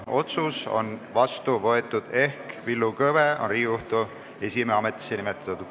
Otsus on vastu võetud ehk Villu Kõve on Riigikohtu esimehe ametisse nimetatud.